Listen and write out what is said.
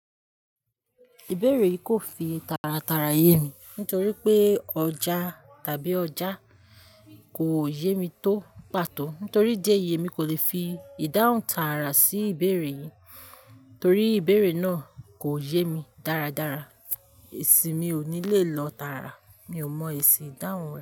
Ìbéèrè yìí kò fi tàràràrà yé mi nítorí pé ọjà tàbí ọjà kò yé mi tó pàtó. Nítorí di ẹ yé mi kò lè fi ìdáhùn tààrà sí ìbéèrè yìí torí ìbéèrè náà kò yé mi dáradára. Èsì mi ò ní lè lọ tààrà, mi ò mọ èsì ìdáhùn rẹ.